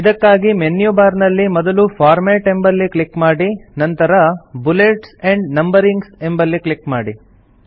ಇದಕ್ಕಾಗಿ menu bar ನಲ್ಲಿ ಮೊದಲು ಫಾರ್ಮ್ಯಾಟ್ ಎಂಬಲ್ಲಿ ಕ್ಲಿಕ್ ಮಾಡಿ ನಂತರ ಬುಲೆಟ್ಸ್ ಆಂಡ್ ನಂಬರಿಂಗ್ ಎಂಬಲ್ಲಿ ಕ್ಲಿಕ್ ಮಾಡಿ